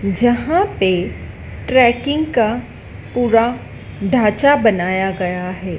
जहां पे ट्रेकिंग का पूरा ढांचा बनाया गया है।